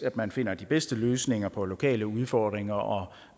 at man finder de bedste løsninger på lokale udfordringer og